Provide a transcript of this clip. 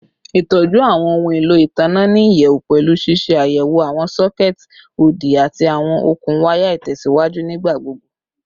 Itọju awọn ohun elo itanna ni iyẹwu pẹlu ṣiṣe ayẹwo awọn sockets odi ati awọn okun waya itẹsiwaju nigbagbogbo